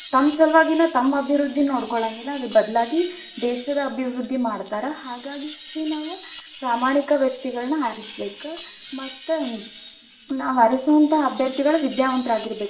ತಮ್ ಸಲುವಾಗಿನ ತಮ್ಮ ಅಭಿವೃದ್ಧಿ ನೋಡ್ಕೊಳಂಗಿಲ್ಲಾ, ಅದ್ರ ಬದಲಾಗಿ ದೇಶದ ಅಭಿವೃದ್ಧಿ ಮಾಡ್ತಾರ, ಹಾಗಾಗಿ ನಾವ್ ಪ್ರಾಮಾಣಿಕ ವ್ಯಕ್ತಿಗಳನ್ನ ಆರಿಸಬೇಕ ಮತ್ತ, ನಾವಾರಿಸುವಂತಹ ಅಭ್ಯರ್ಥಿಗಳು ವಿದ್ಯಾವಂತರಾಗಿರಬೇಕ್.